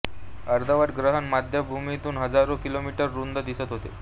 अर्धवट ग्रहण मध्यभागीून हजारो किलोमीटर रुंद दिसत होते